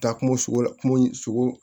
Taa kungo sogo la kungo sogo